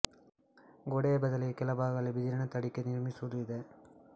ಗೋಡೆಯ ಬದಲಿಗೆ ಕೆಲ ಭಾಗಗಳಲ್ಲಿ ಬಿದಿರನ ತಡಿಕೆ ನಿರ್ಮಿಸುವುದೂ ಇದೆ